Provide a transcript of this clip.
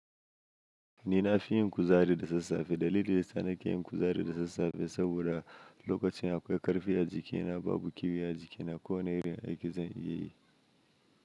Ni na fi yin kuzari da sassafe dalili yasa na ke yin kuzari da sassafe saboda lokacin da akwai karfi a jikina babu kyuya a jikina ko wani irin aiki zan iya yi.